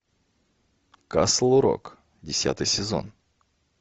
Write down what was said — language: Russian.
касл рок десятый сезон